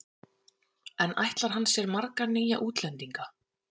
En ætlar hann sér marga nýja útlendinga?